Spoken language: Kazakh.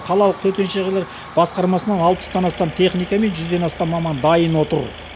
қалалық төтенше жағдайлар басқармасынан алпыстан астам техника мен жүзден астам маман дайын отыр